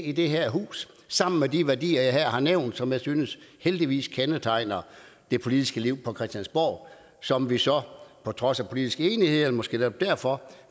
i det her hus sammen med de værdier jeg her har nævnt som jeg synes heldigvis kendetegner det politiske liv på christiansborg som vi så på trods af politisk uenighed eller måske netop derfor